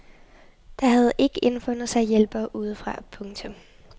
Der havde ikke indfundet sig hjælpere udefra. punktum